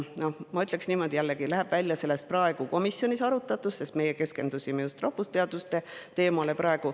Ma ütlen, et see jällegi läheb välja komisjonis arutatust, sest meie keskendusime just rahvusteaduste teemale.